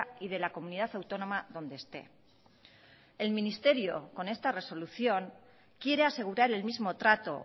y de la comunidad autónoma donde esté el ministerio con esta resolución quiere asegurar el mismo trato